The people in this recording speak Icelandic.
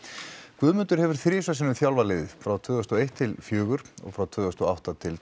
Guðmundur hefur tvisvar þjálfað liðið frá tvö þúsund og eitt til fjögur og frá tvö þúsund og átta til